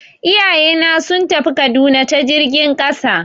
Iyayena sun tafi Kaduna ta jirgin ƙasa.